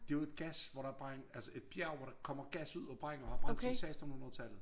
Det jo et gas hvor der brænd altså et bjerg hvor der kommer gas ud og brænder og har brændt siden sekstenhundredetallet